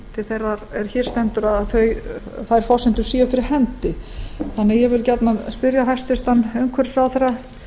til þeirrar er hér stendur að þær forsendur séu fyrir hendi ég vildi því gjarnan spyrja hæstvirtur umhverfisráðherra hvort hún hyggist